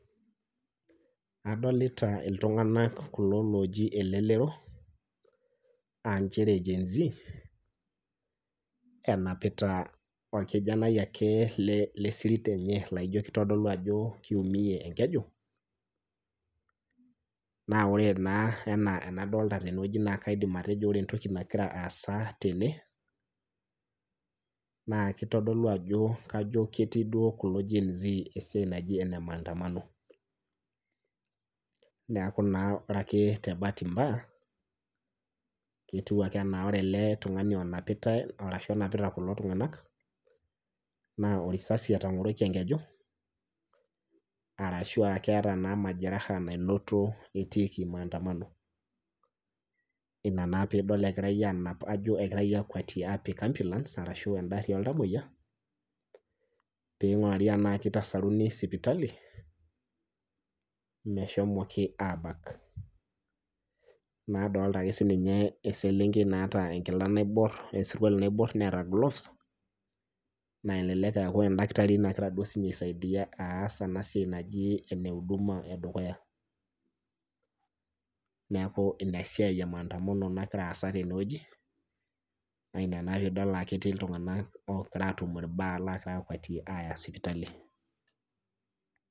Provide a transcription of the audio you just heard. Adolita iltunganak kulo loojie elelero aa nchere GenZ enapita ake irkijanani lesirit enye laijo kitodolu ajo kiiumie enkeju, naa ore naa ena enadolita teneweji naa kaidim etejo ore entoki nagira aasa tene naa kajo ketii duo kulo genz esiai naji enemaandamano. neeku naa ore ake tebaati mbaya etiu ena ore ele tungani onapitae ashu onapitae kulo tunganak naa orisasi entagoroki enkeju orashu keeta naa majeraha naanoto etiiki maandamano. ina naa pee idol engirae anap akwetie ashu apik ambulance orashu ena gari oltamayiok pee eigurari tena kitasaruni sipitali meshomki naa abak. nadolita naa siininye eselenkei naata enkila naibor wesurkuali naibor neeta gloves naa elelek ee endakitari nagira siininye aisaidia aas ena siai naji ene huduma edukuya ,neeku ina siai emaandamano nagira aasa teneweji naa ina naa pee idol ajo ketii iltunganak loogira atum irbaa loogirae akwetie aya sipitali.